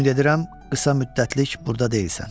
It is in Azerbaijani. Ümid edirəm qısa müddətlik burda deyilsən.